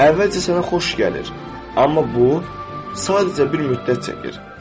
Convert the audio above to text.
Əvvəlcə sənə xoş gəlir, amma bu, sadəcə bir müddət çəkir.